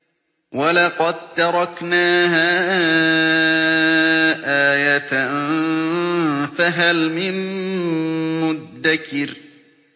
وَلَقَد تَّرَكْنَاهَا آيَةً فَهَلْ مِن مُّدَّكِرٍ